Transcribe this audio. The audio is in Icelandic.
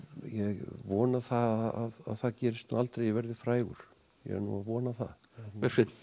vona það að það gerist nú aldrei að ég verði frægur ég er nú að vona það Bergsveinn